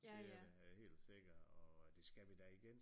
Det er da helt sikkert og det skal vi da igen